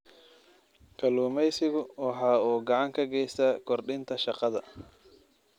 Kalluumaysigu waxa uu gacan ka geystaa kordhinta shaqada.